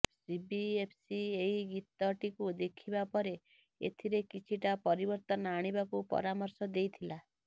CBFC ଏହି ଗୀତଟିକୁ ଦେଖିବା ପରେ ଏଥିରେ କିଛିଟା ପରିବର୍ତ୍ତନ ଆଣିବାକୁ ପରାମର୍ଶ ଦେଇଥିଲା